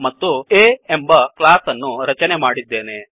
ಮತ್ತು A ಎಂಬ class ಅನ್ನು ರಚನೆ ಮಾಡಿದ್ದೇನೆ